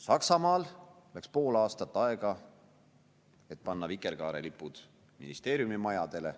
Saksamaal läks pool aastat aega, et panna vikerkaarelipud ministeeriumimajadele.